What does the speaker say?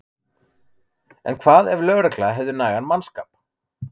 En hvað ef lögregla hefði nægan mannskap?